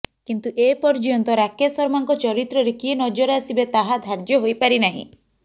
କିନ୍ତୁ ଏ ପର୍ଯ୍ୟନ୍ତ ରାକେଶ ଶର୍ମାଙ୍କ ଚରିତ୍ରରେ କିଏ ନଜର ଆସିବେ ତାହା ଧାର୍ଯ୍ୟ ହୋଇ ପାରି ନାହିଁ